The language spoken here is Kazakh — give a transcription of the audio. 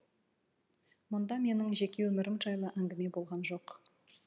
мұнда менің жеке өмірім жайлы әңгіме болған жоқ